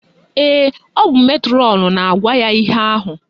Ee, ọ bụ metrọnụ na-agwa ya ihe ahụ